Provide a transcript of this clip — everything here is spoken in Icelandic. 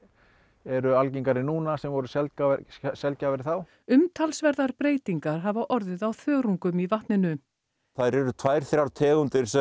eru algengari núna sem voru sjaldgæfari sjaldgæfari þá umtalsverðar breytingar hafa orðið á þörungum í vatninu þær eru tvær þrjár tegundir sem